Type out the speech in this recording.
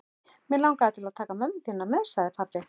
Mig langar til að taka mömmu þína með sagði pabbi.